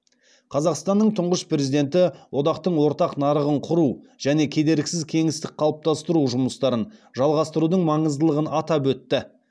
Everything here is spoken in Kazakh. қазақстанның тұңғыш президенті одақтың ортақ нарығын құру және кедергісіз кеңістік қалыптастыру жұмыстарын жалғастырудың маңыздылығын атап өтті